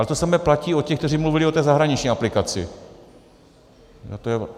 Ale to samé platí o těch, kteří mluví o té zahraniční aplikaci.